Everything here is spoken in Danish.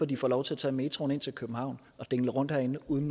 de får lov til at tage metroen ind til københavn og dingle rundt herinde uden